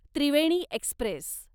Triveni Express